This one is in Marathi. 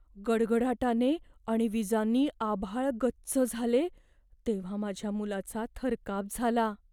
गडगडाटाने आणि विजांनी आभाळ गच्च झाले तेव्हा माझ्या मुलाचा थरकाप झाला.